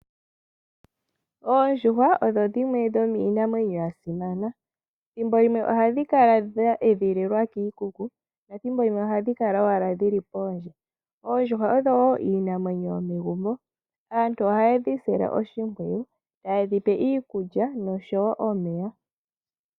Oondjuhwa odho dhimwe dhomiinamwenyo ya simana. Thimbo llimwe oha dhi kala dha edhililwa kiikuku nethimbo limwe oha dhi kala owala dhili poondje. Oondjuhwa odho woo iinamwenyo yomegumbo. Aantu oha ye dhi sile oshimpwiyu, ta ye dhi pe iikulya nosho woo omeya.